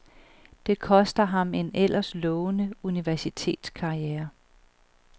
Det koster ham en ellers lovende universitetskarriere.